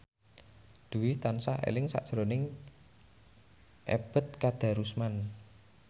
Dwi tansah eling sakjroning Ebet Kadarusman